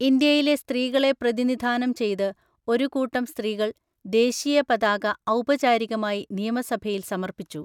ഇന്ത്യയിലെ സ്ത്രീകളെ പ്രതിനിധാനം ചെയ്ത് ഒരു കൂട്ടം സ്ത്രീകൾ ദേശീയ പതാക ഔപചാരികമായി നിയമസഭയില്‍ സമർപ്പിച്ചു.